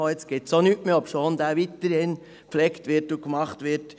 jetzt gibt es auch nichts mehr, obschon der weiterhin gepflegt und gemacht wird.